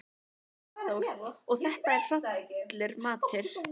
Hafþór: Og þetta er hollur matur?